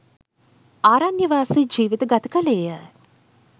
ආරණ්‍යවාසී ජීවිත ගත කළේ ය